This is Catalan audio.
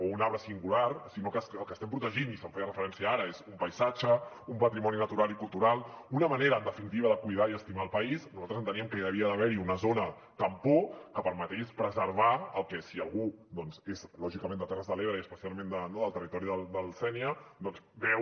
o un arbre singular sinó que el que estem protegint i s’hi feia referència ara és un paisatge un patrimoni natural i cultural una manera en definitiva de cuidar i estimar el país nosaltres enteníem que hi havia d’haver hi una zona tampó que permetés preservar el que si algú és lògicament de terres de l’ebre i especialment no del territori del sénia doncs veu